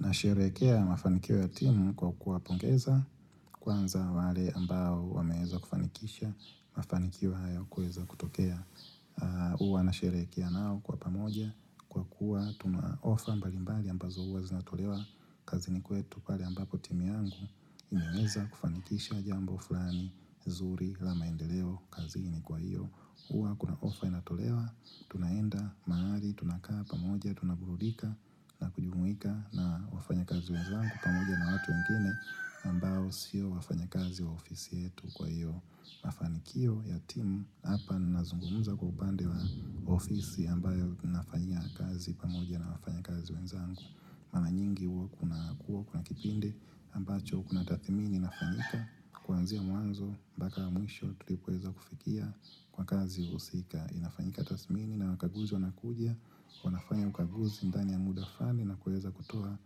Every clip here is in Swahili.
Na sherehekea mafanikio ya timu kwa kuwapongeza kwanza wale ambao wameeza kufanikisha mafanikio haya kueza kutokea. Huwa nasherekea nao kwa pamoja. Kwa kuwa tuna ofa mbalimbali ambazo huwa zinatolewa kazini kwetu pale ambapo timu yangu imeweza kufanikisha jambo fulani nzuri la maendeleo kazini kwa hiyo. Huwa kuna ofa inatolewa, tunaenda mahali, tunakaa pamoja, tunaburudika na kujumuika na wafanyakazi wenzangu pamoja na watu wengine ambao sio wafanyakazi wa ofisi yetu kwa hiyo mafanikio ya timu Hapa nazungumza kwa upande wa ofisi ambayo nafanyia kazi pamoja na wafanyakazi wenzangu mara nyingi huwa kuna kipinde, ambacho kuna tathimini inafanyika Kuanzia mwanzo baka mwisho tulipoweza kufikia kwa kazi husika inafanyika tasmini na wakaguzi wanakujia wanafanya ukaguzi ndani ya muda fulani na kuweza kutoa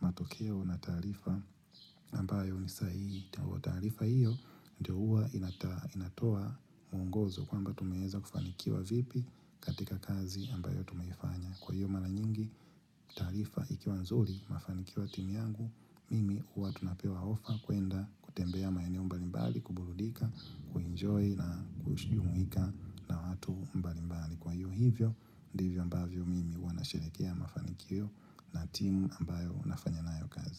matokeo na taarifa ambayo ni sahihi taarifa hiyo ndio huwa inata inatoa mwongozo kwamba tumeweza kufanikiwa vipi katika kazi ambayo tumeifanya Kwa hiyo mara nyingi taarifa ikiwa nzuri mafanikio ya timu yangu Mimi huwa tunapewa ofa kwenda kutembea maeneo mbalimbali, kuburudika, kuenjoy na kujumuihika na watu mbalimbali Kwa hio hivyo, ndivyo ambavyo mimi huwa nasherekea mafanikio na timu ambayo nafanya nayo kazi.